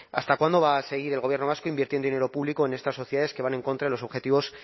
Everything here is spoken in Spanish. hasta cuándo va a seguir el gobierno vasco invirtiendo dinero público en estas sociedades que van en contra de los objetivos